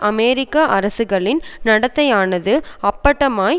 அமெரிக்க அரசுகளின் நடத்தையானது அப்பட்டமாய்